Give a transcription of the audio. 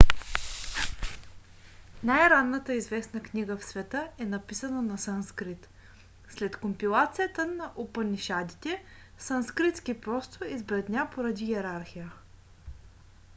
най-ранната известна книга в света е написана на санскрит. след компилацията на упанишадите санскритски просто избледня поради йерархия